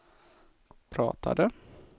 pratade